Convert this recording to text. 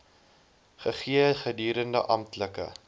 gegee gedurende amptelike